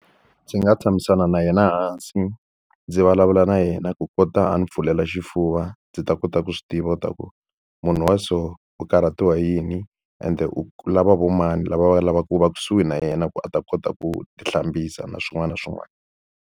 Ndzi nga tshamisana na yena hansi, ndzi vulavula na yena ku kota a ni pfulela xifuva ndzi ta kota ku swi tiva leswaku munhu wa so u karhatiwa hi yini, ende u lava vo mani lava va lavaka ku va kusuhi na yena ku a ta kota ku ti hlambisa na swin'wana na swin'wana.